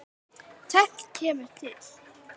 Tvennt kemur til.